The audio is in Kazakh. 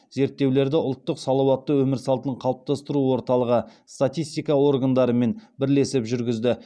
зерттеулерді ұлттық салауатты өмір салтын қалыптастыру орталығы статистика органдарымен бірлесіп жүргізді